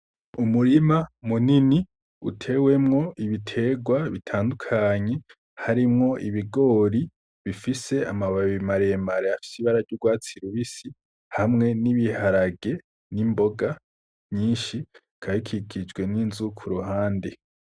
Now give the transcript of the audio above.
Umurima munini utewemwo ibiterwa bitandukanye, harimwo ibigori bifise amababi mare mare afise ibara ry’urwatsi rubisi hamwe n’ibiharage, n’imboga nyinshi bikaba bikikijwe n’inzu kuruhande.